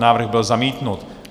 Návrh byl zamítnut.